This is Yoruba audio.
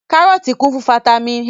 Kárọ́tì kún fún fataímìn A.